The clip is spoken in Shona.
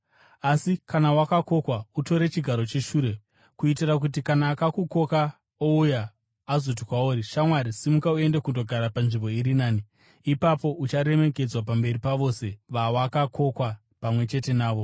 Asi kana wakokwa, utore chigaro cheshure, kuitira kuti kana akukoka ouya, azoti kwauri, ‘Shamwari, simuka uende kundogara panzvimbo iri nani.’ Ipapo ucharemekedzwa pamberi pavose vawakakokwa pamwe chete navo.